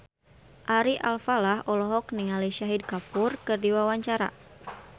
Ari Alfalah olohok ningali Shahid Kapoor keur diwawancara